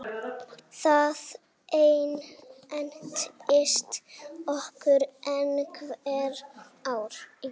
Það entist okkur einhver ár.